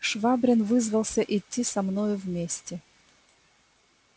швабрин вызвался идти со мною вместе